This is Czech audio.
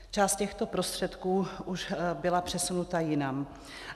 Část těchto prostředků už byla přesunuta jinam.